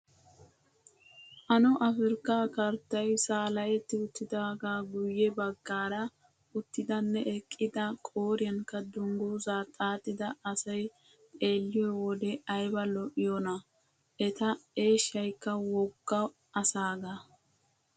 Ano afirkkaa karttayi saaletti uttidaagaa guyye baggaara uttidanne eqqida qooriyankka dungguzaa xaaxida asayi xeelliyoo wode ayiba lo''iyoonaa! Eta eeshshayikka wogga asaagaa.